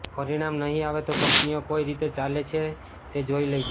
પરિણામ નહીં આવે તો કંપનીઓ કઈ રીતે ચાલે છે તે જોઈ લઈશું